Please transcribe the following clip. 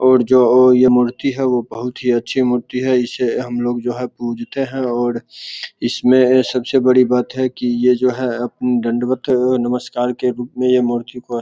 और जो ये मूर्ति है वो बहुत ही च्छी मूर्ति है। इसे हमलोग जो है पूजते हैं और इसमें सबसे बड़ी बात है की यह जो है दंडवत नमस्कार के रूप है यह मूर्ति को --